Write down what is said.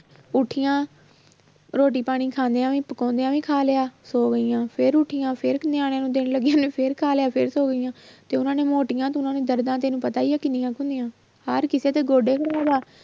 ਉੱਠੀਆਂ ਰੋਟੀ ਪਾਣੀ ਖਾਂਦਿਆਂ ਵੀ ਪਕਾਉਂਦਿਆਂ ਵੀ ਖਾ ਲਿਆ ਸੌ ਗਈਆਂ ਫਿਰ ਉੱਠੀਆਂ ਫਿਰ ਉਹਨੇ ਫਿਰ ਖਾ ਲਿਆ ਫਿਰ ਸੌ ਗਈਆਂ ਤੇ ਉਹਨਾਂ ਨੇ ਮੋਟੀਆਂ ਤੇ ਉਹਨਾਂ ਦੀਆਂ ਦਰਦਾਂ ਤੈਨੂੰ ਪਤਾ ਹੀ ਆ ਕਿੰਨੀਆਂ ਕੁ ਹੁੰਦੀਆਂ ਹਰ ਕਿਸੇ ਦੇ ਗੋਡੇ ਨੂੰ